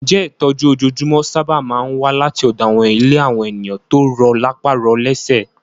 Ǹjẹ́ ìtọ́jú ojoojúmọ́ sáábà máa ń wá láti ọ̀dọ̀ àwọn ilé àwọn ènìyàn tó rọ lápá rọ lésẹ̀?